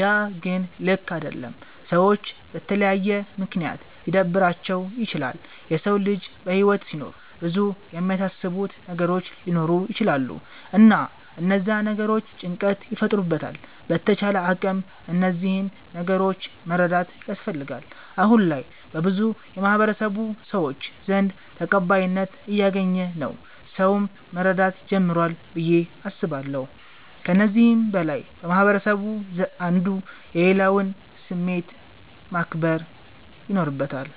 ያ ግን ልክ አደለም። ሰዎች በተለያየ ምክንያት ሊደብራቸዉ ይችላል። የሰዉ ልጅ በህይወት ሲኖር ብዙ የሚያሳስቡት ነገሮች ሊኖሩ ይቸላሉ እና እነዛ ነገሮች ጭንቀት ይፈጥሩበታል በተቻለ አቅም እነዚህን ነገሮች መረዳት ያስፈልጋል። አሁነ ላይ በብዙ የማህበረሰቡ ሰዎች ዘንድ ተቀባይነት እያገኝ ነዉ ሰዉም መረዳት ጀምሯል ብዬ አስባለሁ። ከዚህም በላይ ማህበረስቡ አንዱ የሌላዉን ስሜት ማክበር ይኖርበታል።